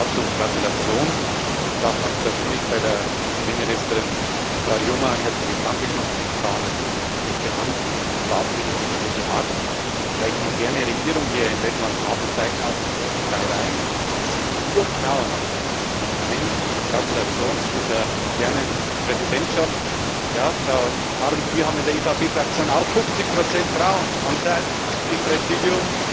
Dazu Gratulation und auch ganz persönlich der Premierministerin Straujuma ein herzliches Dankeschön für den klaren Kurs, für die feste Hand, aber auch für die menschliche Art. Welch moderne Regierung wir in Lettland haben, zeigen auch die ersten drei Reihen Es sind nur Frauen in den ersten drei Reihen. Gratulation zu dieser modernen Präsidentschaft! Ja, Frau Harms, wir haben in der EVP Fraktion auch 50 Frauenanteil im Präsidium.